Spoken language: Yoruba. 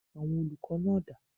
Àwọn olùkọ́ náà dà?